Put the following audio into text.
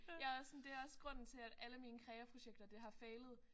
Jeg er også sådan det er også grunden til at alle mine kreaprojekter det har failet